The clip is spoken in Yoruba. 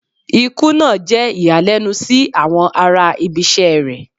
Ikú naa jẹ iyalẹnu si awọn ara ibisẹ́ rẹ